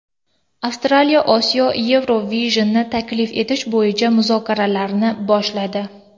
Avstraliya Osiyo Eurovision’ini tashkil etish bo‘yicha muzokaralarni boshladi.